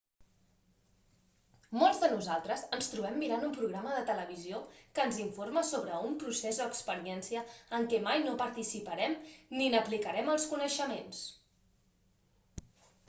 molts de nosaltres ens trobem mirant un programa de televisió que ens informa sobre un procés o experiència en què mai no participarem ni n'aplicarem els coneixements